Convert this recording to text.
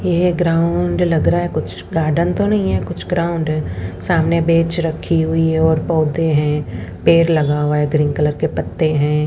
यह ग्राउंड लग रहा है कुछ गार्डन तो नहीं है कुछ ग्राउंड है सामने बेंच रखी हुई है और पौधे हैं पेड़ लगा हुआ है ग्रीन कलर के पत्ते हैं।